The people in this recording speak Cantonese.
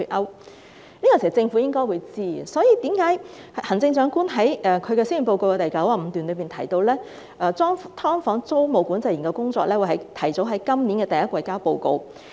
這個問題，政府應該知道，所以行政長官在施政報告第95段中提到，"劏房"租務管制研究工作小組會提早於今年第一季呈交報告。